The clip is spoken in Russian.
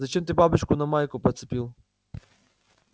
зачем ты бабочку на майку нацепил